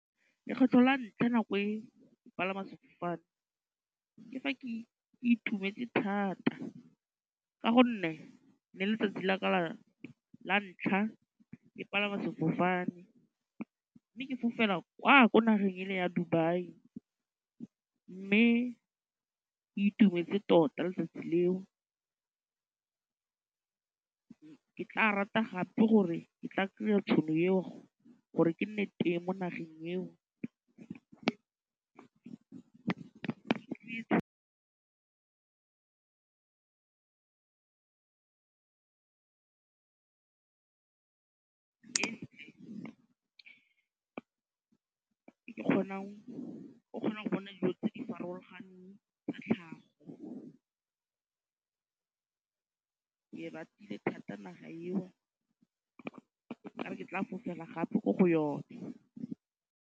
Lekgetlho la ntlha nako e ke palama sefofane ke fa ke itumetse thata ka gonne ne ele letsatsi la ka la ntlha ke palama sefofane mme ke fofela kwa ko nageng e le ya Dubai mme itumetse tota letsatsi leo, ke tla rata gape gore ke tla kry-a tšhono eo gore ke nne teng mo nageng eo kgonang o kgona go bona dijo tse di farologaneng tsa tlhago ke ratile thata naga eo ke re ke tla fofela gape ko go yone.